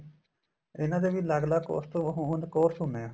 ਇਨ੍ਹਾਂ ਦੇ ਵੀ ਅੱਲਗ ਅੱਲਗ course ਤੋਂ ਹੋਂਦ course ਹੁੰਦੇ ਏ